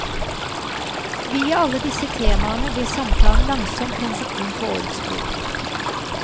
Via alle disse temaene blir samtalen langsomt penset inn på årets bok.